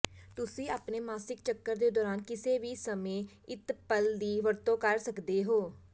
ਤੁਸੀਂ ਆਪਣੇ ਮਾਸਿਕ ਚੱਕਰ ਦੇ ਦੌਰਾਨ ਕਿਸੇ ਵੀ ਸਮੇਂ ਅਿਤਪੱਲ ਦੀ ਵਰਤੋਂ ਕਰ ਸਕਦੇ ਹੋ